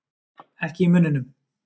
Ekki í munninum.